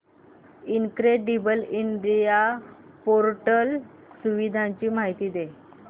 incredible India portal सुविधांची माहिती दे